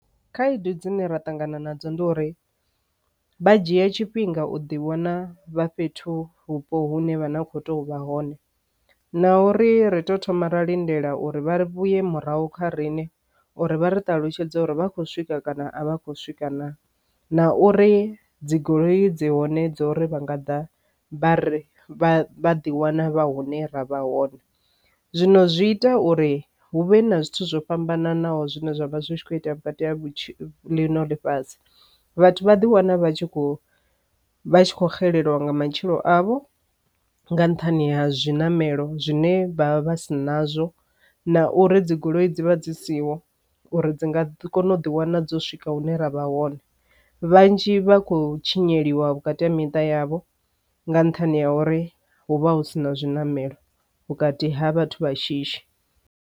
Khaedu dzine ra ṱangana nadzo ndi uri vha dzhia tshifhinga u ḓi wana vha fhethu vhupo hune vha na kho to vha hone na uri ri to thoma ra lindela uri vha ri vhuye murahu kha riṋe uri vha ri ṱalutshedze uri vha khou swika kana a vha khou swika na na uri dzigoloi dzi hone dza uri vhanga ḓa vha ḓi wana vha hune ra vha hone. Zwino zwi ita uri hu vhe na zwithu zwo fhambananaho zwine zwavha zwi kho itea vhukati april fhasi vhathu vha ḓi wana vha tshi khou vha tshi kho xelelwa nga matshilo avho nga nṱhani ha zwiṋamelo zwine vha vha si nazwo na uri dzigoloi dzi vha dzi siho uri dzi nga si kone u ḓi wana dzo swika hune ra vha hone vhanzhi vha khou tshinya sheliwa vhukati ha miṱa yavho nga nṱhani ha uri hu vha hu sina zwiṋamelo vhukati ha vhathu vha shishi.